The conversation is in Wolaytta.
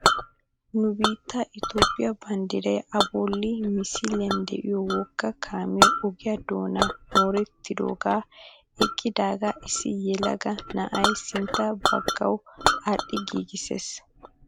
Nu biittee itoophphee banddiray a bolli misiliyaan de'iyoo wogga kaamee ogiyaa doonan morettidagee eqqidagaa issi yelaga na'ay sintta baggawu adhidi giigisses.